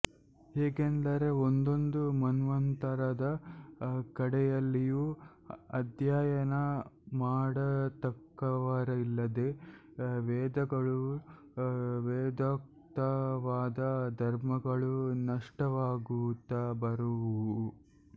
ಹೇಗೆಂದರೆ ಒಂದೊಂದು ಮನ್ವಂತರದ ಕಡೆಯಲ್ಲಿಯೂ ಅಧ್ಯಯನ ಮಾಡತಕ್ಕವರಿಲ್ಲದೇ ವೇದಗಳೂ ವೇದೋಕ್ತವಾದ ಧರ್ಮಗಳೂ ನಷ್ಟವಾಗುತ್ತ ಬರುವುವು